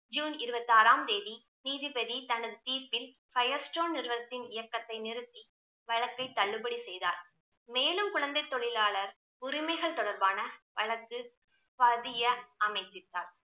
June இறுபத்தி ஆறாம் தேதி நீதிபதி தனது தீர்ப்பில் ஃபயர் ஸ்டோன் நிறுவனத்தின் இயக்கத்தை நிறுத்தி வழக்கை தள்ளுபடி செய்தார். மேலும் குழந்தை தொழிலாளர் உரிமைகள் தொடர்பான வழக்கு பதிய